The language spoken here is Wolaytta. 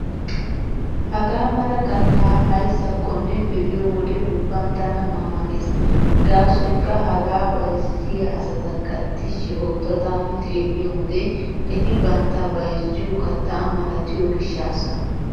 Hagaa mala kattaa aysakonne be'iyo wode ubban tana ma ma gees. Gaasoykka hagaa bayzziya asatakka tishshi ootta taani xeelliyo wode eti bantta bayzziyo kattaa malatiyo gishshaassa.